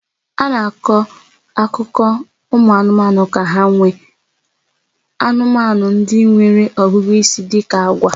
A na-akọ akụkọ ụmụ anụmanụ ka ha nwee anụmanụ ndị nwere ọgụgụ isi dị ka agwa